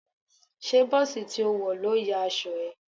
Ṣé bọ́ọ̀sì tí ó wọ̀ ló ya aṣọ ẹ?